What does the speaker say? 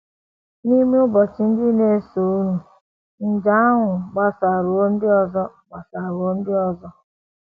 N’ime ụbọchị ndị na - esonụ, nje ahụ agbasaruo ndị ọzọ agbasaruo ndị ọzọ.